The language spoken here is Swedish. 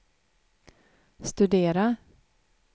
studera